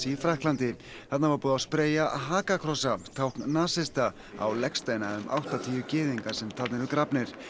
í Frakklandi þarna var búið að spreyja tákn nasista á legsteina um áttatíu gyðinga sem þarna eru grafnir